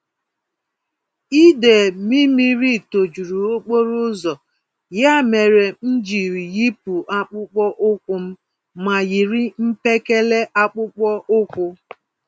Idee Mlmmiri tojuru okporoụzọ, ya mèrè m jiri yipụ akpụkpọ ụkwụm ma yiri mpekele akpụkpọ ụkwụ